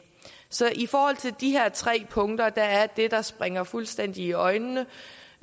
så i forhold til de her tre punkter er det der springer fuldstændig øjnene